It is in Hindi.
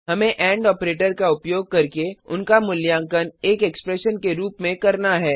हमें एंड ऑपरेटर का उपयोग करके उनका मूल्यांकन एक एक्सप्रेशन के रूप में करना है